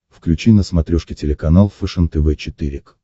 включи на смотрешке телеканал фэшен тв четыре к